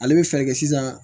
Ale bɛ fɛɛrɛ kɛ sisan